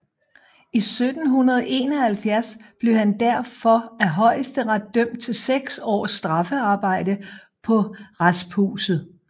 I 1771 blev han derfor af Højesteret dømt til seks års straffearbejde på rasphuset